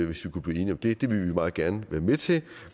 hvis vi kunne blive enige om det det vil vi meget gerne være med til